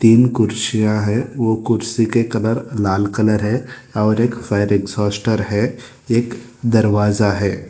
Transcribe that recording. तीन कुर्सियां हैं ओ कुर्सी के कलर लाल कलर है और एक फैन एक्जास्टर है एक दरवाजा है।